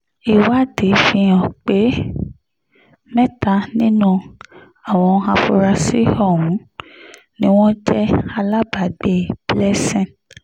ìwádìí fíhàn pé mẹ́ta nínú àwọn afurasí ọ̀hún ni wọ́n jẹ́ alábàágbé blessing